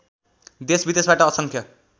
देशविदेशबाट असङ्ख्य